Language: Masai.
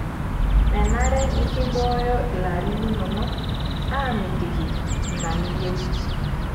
Menare nikimbooyo ilarin linono aamitiki ina niyieu.